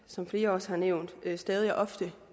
som flere også har nævnt stadig og ofte